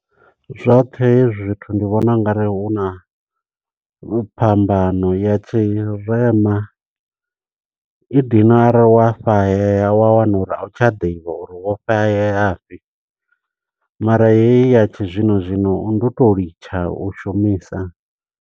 Zwoṱhe hezwi zwithu ndi vhona ungari huna phambano ya tshirema. I dina arali wafhaheya wa wana uri a u tsha ḓivha uri wofhaheya fhi. Mara heyi ya tshizwino zwino ndi u to litsha u shumisa.